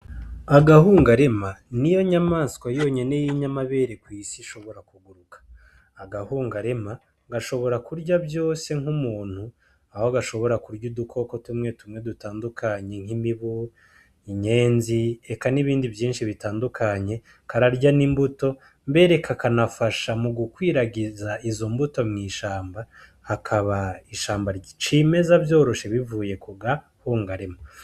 Agahungarame Niyo nyamaswa yonyene yinyamabere kw'isi ishobora kuguruka , agahungurame gashobora kurya vyose nk'umuntu Aho gashobora kurya udukoko tumwe tumwe dutandukanye nk'imibu , inyenzi eka n'ibindi Vyinshii bitandukanye, kararya n'imbuto mbere kakanafasha mu gukwiragiza Izo mbuto mw'ishamba hakaba ishamba cimeza vyoroshe bivuye kukahungarema.